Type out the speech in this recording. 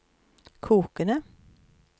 kokende